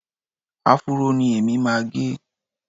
Áfúró ni èmi máa ń gẹ